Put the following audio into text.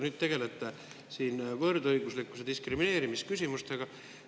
Nüüd tegelete siin võrdõiguslikkuse ja diskrimineerimise küsimustega.